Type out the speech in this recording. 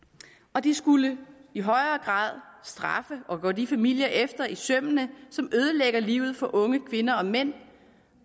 og den skulle i højere grad straffe og gå de familier efter i sømmene som ødelægger livet for unge kvinder og mænd